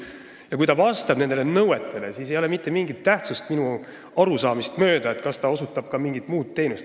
Ja kui ta vastab nendele nõuetele, siis ei ole minu arusaamist mööda mitte mingit tähtsust sellel, kas ta osutab ka mingit muud teenust.